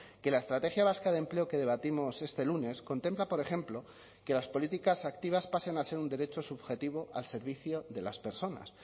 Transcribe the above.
que la estrategia vasca de empleo que debatimos este lunes contempla por ejemplo que las políticas activas pasen a ser un derecho subjetivo al servicio de las personas